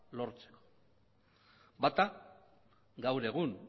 lortzeko bata gaur egun